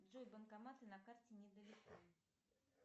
джой банкоматы на карте не далеко